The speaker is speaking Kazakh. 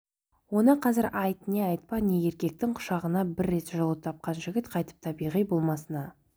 оны қазір айт не айтпа не еркектің құшағынан бір рет жылу тапқан жігіт қайтып табиғи болмысына